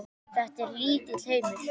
Þetta er lítill heimur.